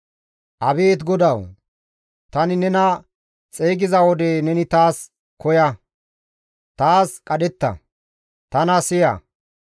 Abeet GODAWU! Tani nena xeygiza wode neni taas koya; taas qadhetta; tana siya.